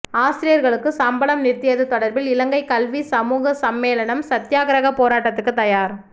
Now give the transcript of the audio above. ஆசிரியர்களுக்கு சம்பளம் நிறுத்தியது தொடர்பில் இலங்கை கல்விச் சமூக சம்மேளனம் சத்தியாக்கிரக போராட்டத்துக்கு தயார்